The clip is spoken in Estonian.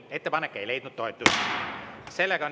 Ettepanek ei leidnud toetust.